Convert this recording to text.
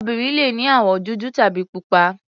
Obìnrin le ní àwọ̀ dúdú tàbí pupa.